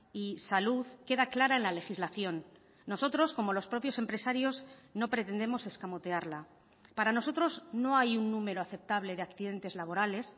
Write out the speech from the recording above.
y salud queda clara en la legislación nosotros como los propios empresarios no pretendemos escamotearla para nosotros no hay un número aceptable de accidentes laborales